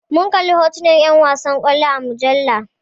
Mun kalli hotunan 'yan wasan kwallo a mujalla.